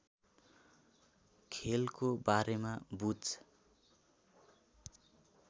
खेलको बारेमा बुझ